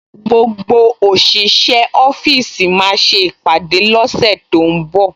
Gbogbo òṣìṣẹ́ ọ́fíìsì máa ṣe ìpàdé lọ́sẹ̀ tó ń bọ̀